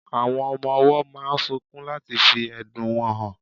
Awón ọmọ owó máà ń sunkún láti fí ẹ̀dùn wọn hàn